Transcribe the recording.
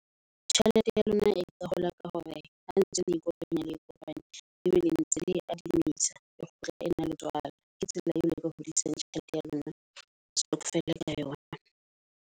Tjhelete ya lona e ka hola ka hore ha ntse le ikopanya le kopanya e be le ntse le e adumisa, e kgutla e na le tswala. Ke tsela eo le ka hodisang tjhelete ya lona ya stokvel ka yona.